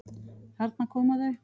Þarna koma þau!